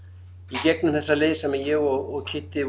í gegnum þessa leið sem ég og Kiddi